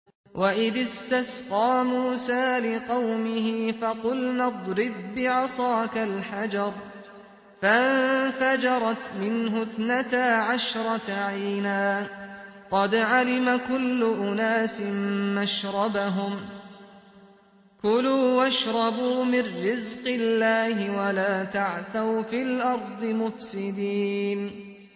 ۞ وَإِذِ اسْتَسْقَىٰ مُوسَىٰ لِقَوْمِهِ فَقُلْنَا اضْرِب بِّعَصَاكَ الْحَجَرَ ۖ فَانفَجَرَتْ مِنْهُ اثْنَتَا عَشْرَةَ عَيْنًا ۖ قَدْ عَلِمَ كُلُّ أُنَاسٍ مَّشْرَبَهُمْ ۖ كُلُوا وَاشْرَبُوا مِن رِّزْقِ اللَّهِ وَلَا تَعْثَوْا فِي الْأَرْضِ مُفْسِدِينَ